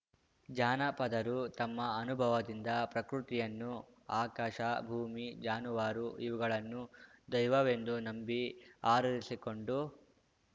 ಜಾನಪದರು ತಮ್ಮ ಅನುಭವದಿಂದ ಪ್ರಕೃತಿಯನ್ನು ಆಕಾಶ ಭೂಮಿ ಜಾನುವಾರು ಇವುಗಳನ್ನು ದೈವವೆಂದು ನಂಬಿ ಆರಾಧಿಸಿಕೊಂಡು